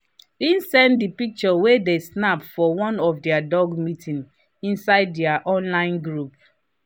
he send the pictures wey they snap for one of their dog meeting inside their online group.